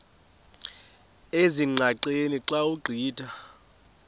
ezingqaqeni xa ugqitha